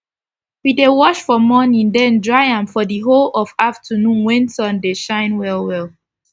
we dey wash for morning den dry am for d whole of afternoon wen sun dey shine well well